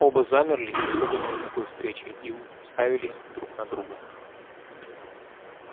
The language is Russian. оба замерли испуганные такой встречей и у ставились друг на друга